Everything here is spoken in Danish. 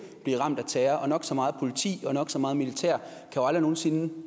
blive ramt af terror og nok så meget politi og nok så meget militær kan aldrig nogen sinde